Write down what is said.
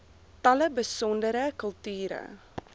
tale besondere kulture